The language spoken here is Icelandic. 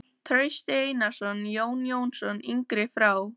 Trausti Einarsson, Jón Jónsson yngri frá